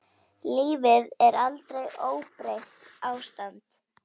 Lífið er aldrei óbreytt ástand.